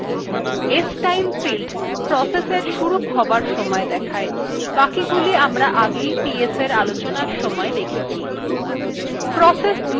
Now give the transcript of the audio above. stime field process এর শুরু হবার সময় দেখায় বাকিগুলি আমরা আগে ps আলোচনার সময় দেখেছি